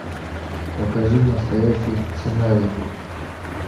покажи настоящий сценарий